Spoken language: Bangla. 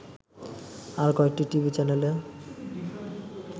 আরো কয়েকটি টিভি চ্যানেলে